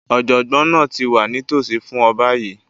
Ọ̀jọ̀gbọ́n náà ti wà nítòsí fún ọ báyìí